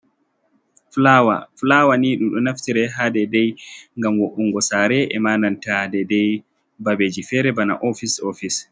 Fulaawa, fulaawa ni ɗun ɗo naftire ha dedai, ngam wo'ungo saare e mananta dedei babeji fere bana ofice office.